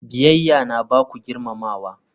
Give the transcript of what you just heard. Biyayya yana ba ku girmamawa.